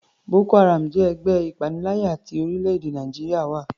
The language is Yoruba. Boko haram jẹ́ ẹgbẹ́ ìpaniláyà tí orílẹ̀-èdè Nàìjíríà ń wá.